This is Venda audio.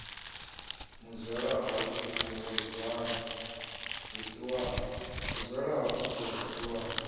muzwala hu a kupula vhusiwana